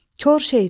Kor şeytan.